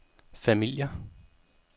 familier